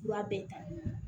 Fura bɛɛ talen